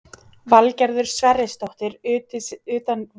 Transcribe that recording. Valgerður Sverrisdóttir, utanríkisráðherra: Hver er skandallinn?